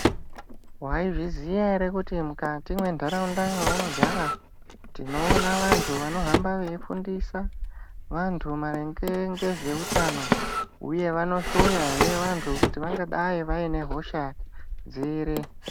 Vaizviziya ere kuti mukati mwentaraunda mwaunogara tinoona vantu vanohamba veifundisa vantu maringe ngezveutano, uye vanohloyahe vantu kuti vangadai vaine hosha dziri.